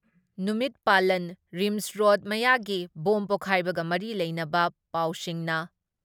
ꯅꯨꯃꯤꯠ ꯄꯥꯂꯟ, RIMS road ꯃꯌꯥꯒꯤ ꯕꯣꯝ ꯄꯣꯛꯈꯥꯏꯕꯒ ꯃꯔꯤ ꯂꯩꯅꯕ ꯄꯥꯎꯁꯤꯡꯅ